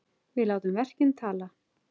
Við látum verkin tala!